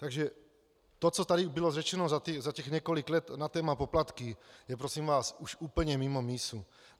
Takže to, co tady bylo řečeno za těch několik let na téma poplatky, je prosím vás už úplně mimo mísu.